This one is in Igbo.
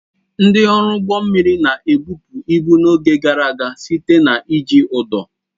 Ndị ọrụ ụgbọ mmiri na-ebupụ ibu n'oge gara aga site na iji ụdọ.